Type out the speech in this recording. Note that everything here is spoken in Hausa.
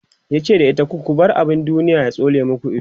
yace da ita "ku ku bar abun duniya ya tsole maku Ido!"